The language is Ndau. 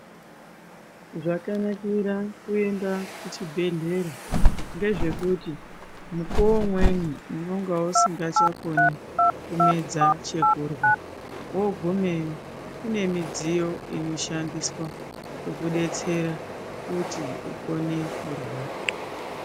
Zvakanakira kuenda kuchibhedhlera ngezvekuti mukuwo umweni unonga usingachakoni kumedza chokurya wogumeyo kune midziyo inoshandiswa kukudetsera kuti ukone kurya.